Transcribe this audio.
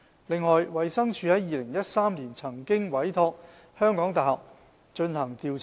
此外，衞生署曾在2013年委託香港大學進行調查。